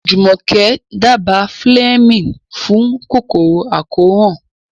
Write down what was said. Jumoke dábàá Fleming fún kòkòrò àkóràn.